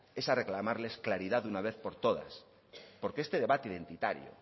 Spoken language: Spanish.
es a reclamarles claridad de una vez por todas porque este debate identitario